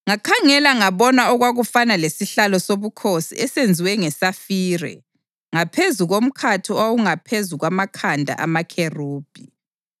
Ngakhangela ngabona okwakufana lesihlalo sobukhosi esenziwe ngesafire ngaphezu komkhathi owawungaphezu kwamakhanda amakherubhi.